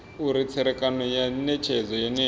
uri tserekano ya netshedzo yeneyo